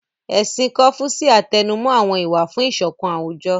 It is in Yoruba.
Ẹ̀sìn kọ́fúṣíà tẹnumó àwọn ìwà fún ìṣọ̀kan àwùjọ